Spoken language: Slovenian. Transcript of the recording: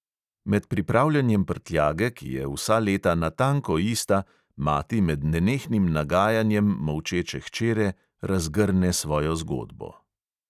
Med pripravljanjem prtljage, ki je vsa leta natanko ista, mati med nenehnim nagajanjem molčeče hčere razgrne svojo zgodbo.